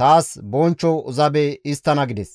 taas bonchcho zabe histtana» gides.